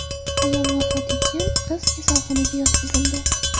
Ayol vafot etgan, qiz kasalxonaga yotqizildi.